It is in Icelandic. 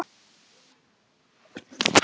Þá birtumst við og brúnin léttist á mörgum.